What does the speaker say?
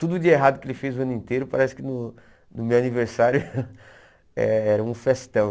Tudo de errado que ele fez o ano inteiro, parece que no no meu aniversário eh era um festão.